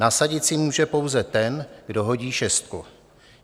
Nasadit si může pouze ten, kdo hodí šestku.